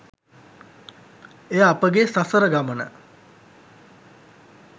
එය අපගේ සසර ගමන